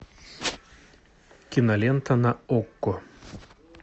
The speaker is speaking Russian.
кинолента на окко